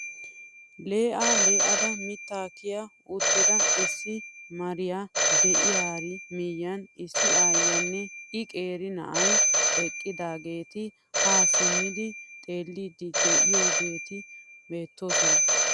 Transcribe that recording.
Lee'aa le'ada mittaa kiya uttida issi mariyaa de'iyaari miyiyan issi ayiyaanne i qeeri na'ay eqqidaageti haa simmi xeellidi de'iyaageti beettoosona.